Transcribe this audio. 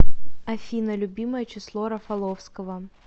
афина любимое число рафаловского